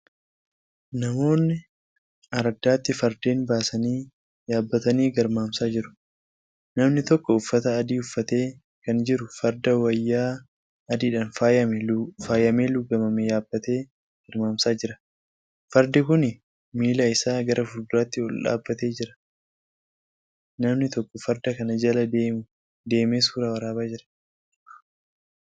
Namoonni ardaatti fardeen baasanii yaabbatanii garmaamsaa jiru. namni tokko uffata adii uffatee Kan jiru Farda wayyaa adiidhaan faayamee lugaamame yaabbatee garmaamsaa jira. fardi Kuni miila Isaa gara fuulduraatiin oldhaabatee jira. namni tokko Farda kana Jala deemee suuraa waraabaa Jira.